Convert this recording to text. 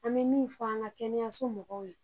An be min fɔ an ka kɛnɛyaso mɔgɔw ye.